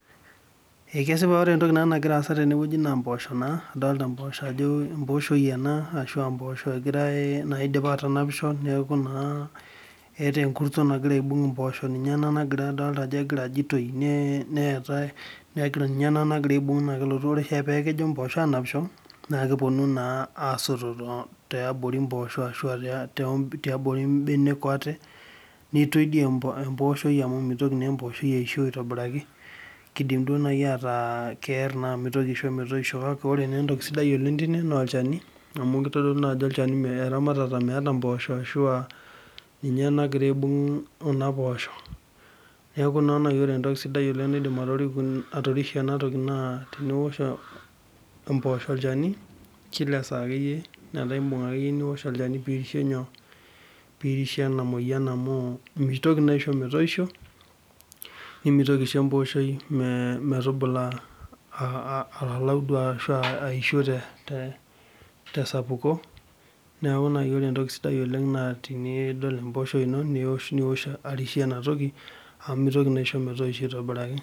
ee kisipa ajo ore entoki nagira aasa tene wueji naa mpoosho naa, adoolta mpposho ajo empooshoi ena ,mpoosho egirae, naidipa aatanapisho. neeku egirae, neeku naa eta enkurto nagira aibung' mpoosho ninye ena nagira ajo aitoi, neetae ninye ena nagira aibung' naa kelotu re oshiake peku kepuonu mpoosho aanapisho. naa kepuonu naa aasoto tiabori mpoosho. ahu aa tiabori benek ate, neitoi dii emposhoi amu mitoki naa empooshoi aisho aitobirai, kidim duoo naji ataa keer naa mitoki aisho metoisho, kake ore naa entoki sidai oleng tine naa olchani, amu kitodolu naa ajo olchani eramatata meeta mpoosho, ashu aa ninye nagira aibung' kuna poosho, neeku naa ore naji entoki sidai oleng nidim atoripie kuna posho atorishie ena toki naa teniosh empoosho olchani, kila saa akeyie, metaa imbung' akeyiie niosh olchani pee irishie nyoo, pee irishie ena moyian amu mitoki naa aisho metoisho, nimitoki aisho empooshoi metubula alalu duo ashu aa aisho te, te sapuko, neeku naji ore entoki sidai oleng naa tenidol emposhoi ino niosh arishie ena toki, amuu mitoki naa aisho metoisho aitobiraki.